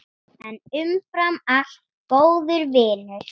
En umfram allt góður vinur.